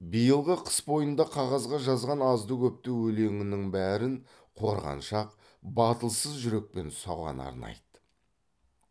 биылғы қыс бойында қағазға жазған азды көпті өлеңінің бәрін қорғаншақ батылсыз жүрекпен соған арнайды